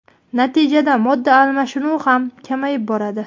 Natijada modda almashinuvi ham kamayib boradi.